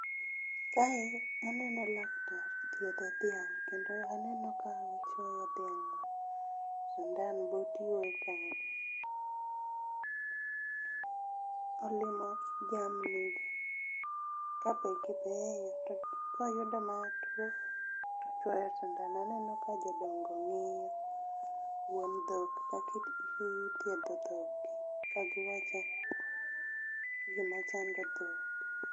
Kae aneno laktar thiedho dhiang', kendo aneno ka ochwoyo dhiang' be sindan but iwe kanyo. Olimo jamni ka be gibeyo, to koyudo ma tuo tochwoyo sindan. Aneno ka jodongo ng'iyo, wuon dhok kaki ka gi thiedho dhok gi. Ka giwacho gima chando dhok.